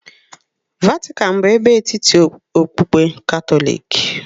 Vatican bụ ebe etiti okpukpe Katọlik.